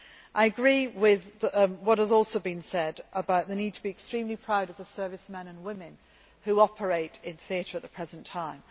I agree with what has also been said about the need to be extremely proud of the servicemen and women who are operating in theatre at the present time.